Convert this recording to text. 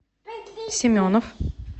семенов